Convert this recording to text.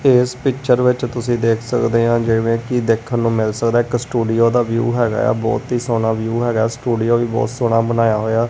ਇਸ ਪਿਚਰ ਵਿੱਚ ਤੁਸੀਂ ਦੇਖ ਸਕਦੇ ਆ ਜਿਵੇਂ ਕਿ ਦੇਖਣ ਨੂੰ ਮਿਲ ਸਕਦਾ ਇੱਕ ਸਟੂਡੀਓ ਦਾ ਵਿਊ ਹੈਗਾ ਆ ਬਹੁਤ ਹੀ ਸੋਹਣਾ ਵਿਊ ਹੈਗਾ ਸਟੂਡੀਓ ਵੀ ਬਹੁਤ ਸੋਹਣਾ ਬਣਾਇਆ ਹੋਇਆ।